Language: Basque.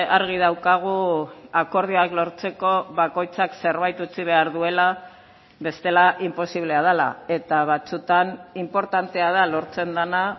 argi daukagu akordioak lortzeko bakoitzak zerbait utzi behar duela bestela inposiblea dela eta batzuetan inportantea da lortzen dena